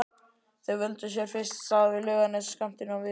Þeir völdu sér fyrst stað við Laugarnes skammt innan við